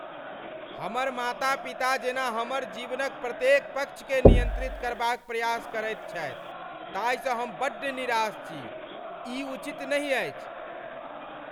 हमर माता पिता जेना हमर जीवनक प्रत्येक पक्षकेँ नियन्त्रित करबाक प्रयास करैत छथि ताहिसँ हम बड्ड निराश छी। ई उचित नहि अछि।